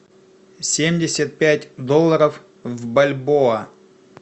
семьдесят пять долларов в бальбоа